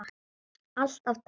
Alltaf takk.